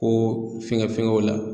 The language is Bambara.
Ko fɛnkɛ fɛngɛw la